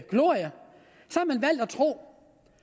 tro